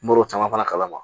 Mɔr'o caman fana kalama